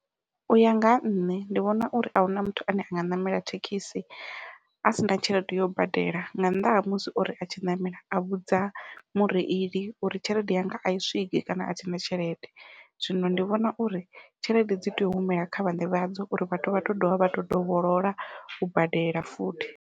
Uya nga ha nṋe ndi vhona uri ahuna muthu ane a nga ṋamela thekhisi a sina tshelede yo badela nga nnḓa ha musi ori a tshi ṋamela a vhudza mureili uri tshelede yanga ai swiki kana athina tshelede, zwino ndi vhona uri tshelede dzi tea u humela kha vhaṋe vhadzo uri vhathu vha tou dovha vha to dovholola u badela futhi.